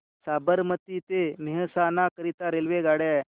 साबरमती ते मेहसाणा करीता रेल्वेगाड्या